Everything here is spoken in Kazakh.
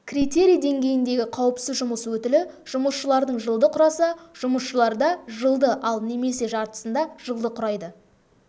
критерий деңгейіндегі қауіпсіз жұмыс өтілі жұмысшылардың жылды құраса жұмысшыларда жылды ал немесе жартысында жылды құрайды